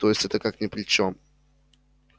то есть это как ни при чем